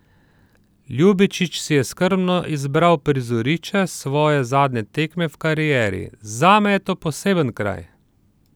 Ljubičić si je skrbno izbral prizorišče svoje zadnje tekme v karieri: 'Zame je to poseben kraj.